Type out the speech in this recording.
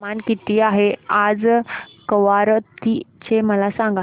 तापमान किती आहे आज कवारत्ती चे मला सांगा